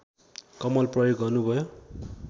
कलम प्रयोग गर्नुभयो